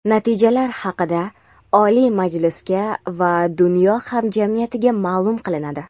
Natijalar haqida Oliy Majlisga va dunyo hamjamiyatiga maʼlum qilinadi.